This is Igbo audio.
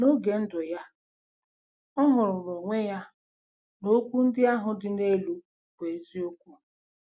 N'oge ndụ ya ọ hụrụ n'onwe ya na okwu ndị ahụ dị n'elu bụ eziokwu.